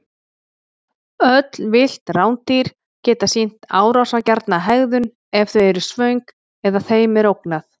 Öll villt rándýr geta sýnt árásargjarna hegðun ef þau eru svöng eða þeim er ógnað.